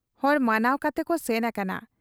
ᱦᱚᱲ ᱢᱟᱱᱟᱶ ᱠᱟᱛᱮᱠᱚ ᱥᱮᱱ ᱟᱠᱟᱱᱟ ᱾